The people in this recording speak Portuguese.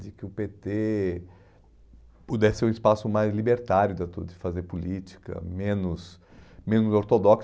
De que o pê tê pudesse ser um espaço mais libertário de atu de fazer política, menos menos ortodoxo.